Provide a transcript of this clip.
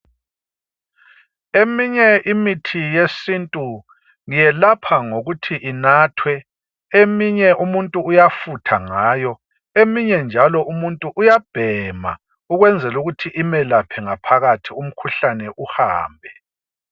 Eminye imithi yesintu yelapha ngokuthi inathwe, eminye umuntu uyafutha ngayo eminye njalo umuntu uyabhema, ukwenzela ukuthi imelaphe ngaphakathi umkhuhlane uhambe.